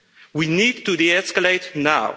We need to de-escalate now.